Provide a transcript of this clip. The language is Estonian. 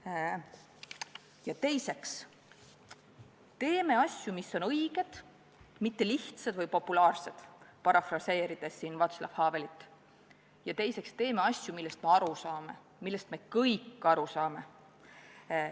Teiseks, parafraseerides Václav Havelit: teeme asju, mis on õiged, mitte lihtsad või populaarsed, teeme asju, millest me kõik aru saame.